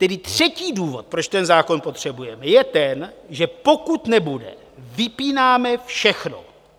Tedy třetí důvod, proč ten zákon potřebujeme, je ten, že pokud nebude, vypínáme všechno.